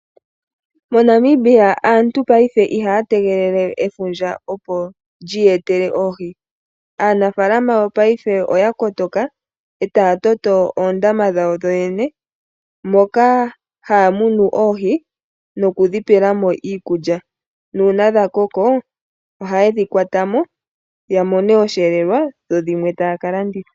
Monamibia aantu paife ihaya tegelele efundja opo lyi yetele oohi. Aanafalama yopaife oya kotoka etaya toto oondama dhawo dho yoyene moka haya munu oohi nokudhi pelamo iikulya nuuna dha koko ohaye dhi kwatamo ya mone oshelelwa dho dhimwe taya ka landitha.